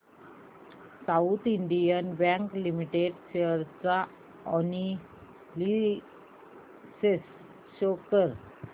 south Indian Bank Limited share analysis show कर